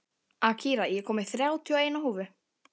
Akira, ég kom með þrjátíu og eina húfur!